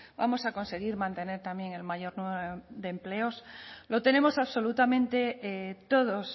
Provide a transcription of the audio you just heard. vamos a conseguir mantener también el mayor número de empleos lo tenemos absolutamente todos